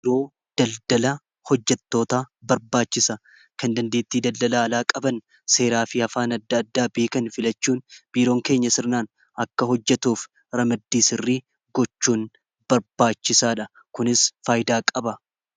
biiroo daldala hojjattoota barbaachisa kan dandiittii daldala alaa qaban seeraa fi hafaan adda addaa biikan filachuun biiroon keenya sirnaan akka hojjetuuf ramiddiisirrii gochuun barbaachisaa dha kunis faayidaa qaba